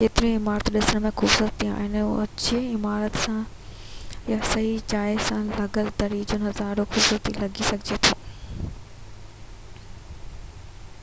ڪيتريون ئي عمارتون ڏسڻ ۾ خوبصورت آهن ۽ اوچي عمارت سان يا صحيح جاءَ تي لڳل دري سان نظارو خوبصورت لڳي سگهجي ٿو